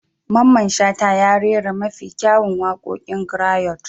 Mamman Shata ya rera mafi kyawun waƙoƙin grayot.